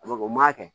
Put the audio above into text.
A bɛ kɛ o m'a kɛ